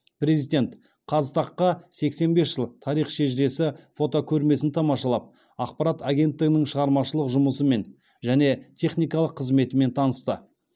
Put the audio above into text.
президент қазтаг қа сексен бес жыл тарих шежіресі фотокөрмесін тамашалап ақпарат агенттігінің шығармашылық жұмысымен және техникалық қызметімен танысты